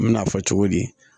N me n'a fɔ cogo di